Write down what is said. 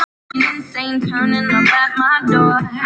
Brosa að mér!